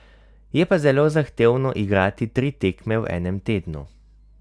Je pa zelo zahtevno igrati tri tekme v enem tednu.